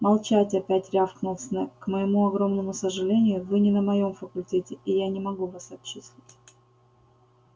молчать опять рявкнул снегг к моему огромному сожалению вы не на моём факультете и я не могу вас отчислить